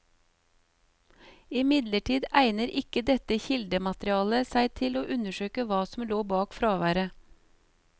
Imidlertid egner ikke dette kildematerialet seg til å undersøke hva som lå bak fraværet.